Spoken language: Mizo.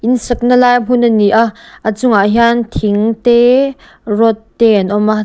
in sakna lai hmun a ni a a chungah hian thing te rod te an awm a.